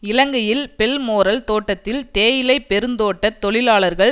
இலங்கையில் பெல்மோரல் தோட்டத்தில் தேயிலை பெருந்தோட்ட தொழிலாளர்கள்